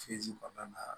kɔnɔna na